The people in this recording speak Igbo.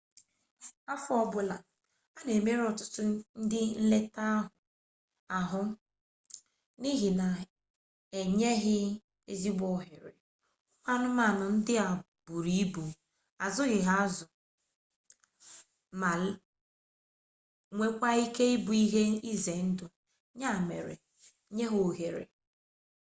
afọ ọ bụla a na-emerụ ọtụtụ ndị nleta ahụ n'ihi na ha enyeghị ezigbo ohere ụmụ anụmanụ ndị a buru ibu azụghịazụ ma nweekkwa ike ịbụ ihe ize ndụ ya mere nye ha ohere